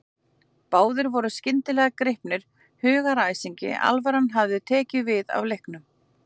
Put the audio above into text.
Báðir voru skyndilega gripnir hugaræsingi, alvaran hafði tekið við af leiknum.